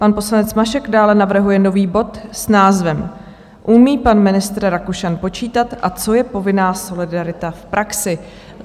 Pan poslanec Mašek dále navrhuje nový bod s názvem: Umí pan ministr Rakušan počítat a co je povinná solidarita v praxi?